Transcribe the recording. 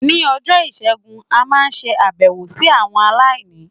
Ní ọjọ́ Ìṣẹ́gun, a máa ṣe àbẹ̀wò sí àwọn aláìní.